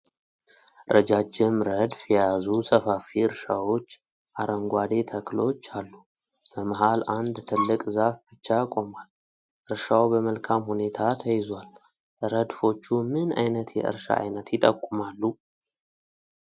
ረጃጅም ረድፍ የያዙ ሰፋፊ እርሻዎች አረንጓዴ ተክሎች አሉ። በመሃል አንድ ትልቅ ዛፍ ብቻ ቆሟል። እርሻው በመልካም ሁኔታ ተይዟል። ረድፎቹ ምን አይነት የእርሻ አይነት ይጠቁማሉ?